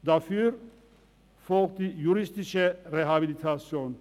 Darauf folgte die juristische Rehabilitation.